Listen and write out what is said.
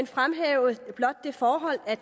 fremhæve det forhold at